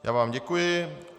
Já vám děkuji.